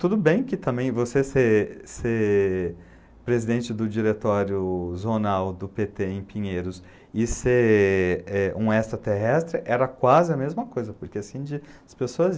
Tudo bem que também você ser ser presidente do diretório jornal do pê tê em Pinheiros e ser eh um extraterrestre era quase a mesma coisa porque assim de, as pessoas